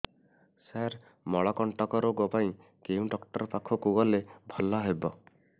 ସାର ମଳକଣ୍ଟକ ରୋଗ ପାଇଁ କେଉଁ ଡକ୍ଟର ପାଖକୁ ଗଲେ ଭଲ ହେବ